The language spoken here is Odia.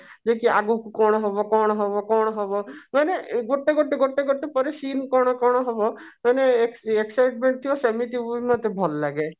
ଯେ କି ଆଗକୁ କଣ ହବ କଣ ହବ କଣ ହବ ମାନେ ଗୋଟେ ଗୋଟେ ଗୋଟେ କରି seen କଣ ହବ ମାନେ excitement ଥିବ ସେମିତି ମୁଭି ମତେ ଭଲ ଲାଗେ